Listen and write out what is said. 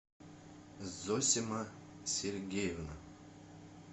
зосима сергеевна